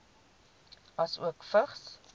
asook vigs